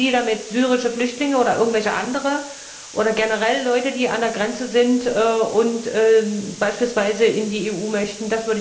Meinten Sie damit syrische Flüchtlinge oder irgendwelche andere oder generell Leute, die an der Grenze sind und beispielsweise in die EU möchten?